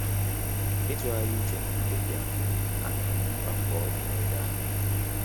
Ịtughari uche na mkpebi ahụ, ahụrụ m mkpa mkpa ọ dị n'oge ahụ